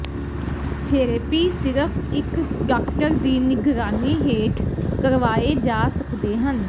therapy ਸਿਰਫ ਇੱਕ doctor ਦੀ ਨਿਗਰਾਨੀ ਹੇਠ ਕਰਵਾਏ ਜਾ ਸਕਦੇ ਹਨ